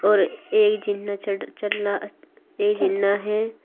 और एक जिन्ना चढ़ चढ़ रहा अस् एक जिन्ना है।